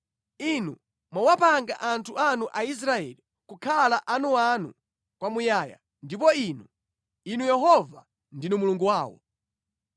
Inu mwawapanga anthu anu Aisraeli kukhala anuanu kwamuyaya, ndipo Inu, Inu Yehova ndinu Mulungu wawo.